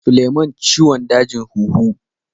Suleman ciwon dajin huhu.